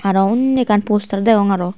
arw unni ekkan postar deong arw.